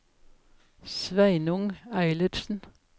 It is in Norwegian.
Sveinung Eilertsen